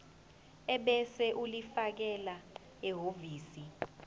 ebese ulifakela ehhovisi